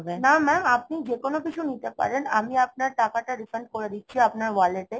না Mam আপনি যেকোনো কিছু নিতে পারেন, আমি আপনার টাকাটা refund করে দিচ্ছি আপনার wallet এ